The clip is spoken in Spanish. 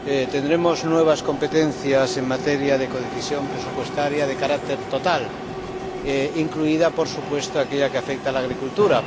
tendremos nuevas competencias en materia de codecisión presupuestaria de carácter total, incluida, por supuesto, aquella que afecta a la agricultura.